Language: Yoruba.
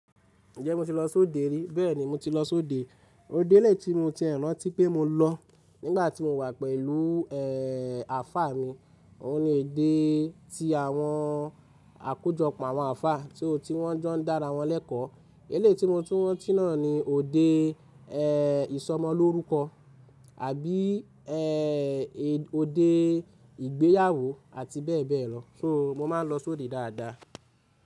Ǹjẹ́ mo ti lọ sóde rí? Bẹ́ẹ̀ni mo ti lọ sóde. Òde lè tí mo ti rántí pé mo lọ nígbà tí mo wà pẹ̀lú, ẹ́ẹ́, àfá mi. Ó ní èdè tí àwọn àkójọpọ̀ àwọn àfá tí ò tí wọ́n jọ ń dára wọ́n lẹ́kọ̀ọ́. Ele tí mo tún rántí náà ni òde, ẹ́ẹ́, ìsọmọlórúkọ àbí, ẹ́ẹ́, òde ìgbéyàwó àti bẹ́ẹ̀ bẹ́ẹ̀ lọ. Hmm, mo máa ń lọ sóde dáadáa.